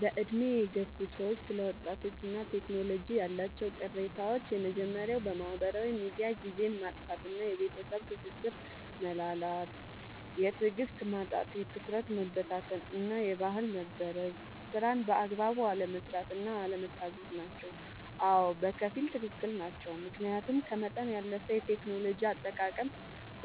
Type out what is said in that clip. በዕድሜ የገፉ ሰዎች ስለ ወጣቶችና ቴክኖሎጂ ያላቸው ቅሬታዎች የመጀመርያው በማህበራዊ ሚዲያ ጊዜን ማጥፋት እና የቤተሰብ ትስስር መላላት። የትዕግስት ማጣት፣ የትኩረት መበታተን እና የባህል መበረዝ። ስራን በአግባቡ አለመስራት እና አለመታዘዝ ናቸው። አዎ፣ በከፊል ትክክል ናቸው። ምክንያቱም ከመጠን ያለፈ የቴክኖሎጂ አጠቃቀም